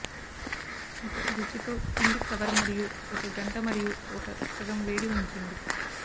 ఒక రుచి తో పిండి కవర్ మరియు ఒక గంట మరియు ఒక సగం వేడి ఉంచండి